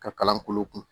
Ka kalan kolo kun